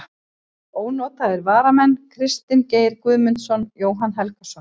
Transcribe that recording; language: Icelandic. Ónotaðir varamenn: Kristinn Geir Guðmundsson, Jóhann Helgason.